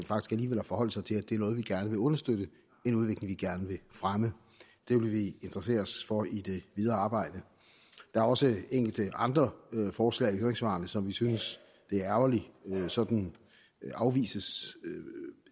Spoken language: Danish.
forholde sig til at det er noget vi gerne vil understøtte en udvikling vi gerne vil fremme det vil vi interessere os for i det videre arbejde der er også enkelte andre forslag i høringssvarene som vi synes det er ærgerligt sådan afvises